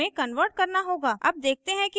अब देखते हैं कि ऐसा कैसे करते हैं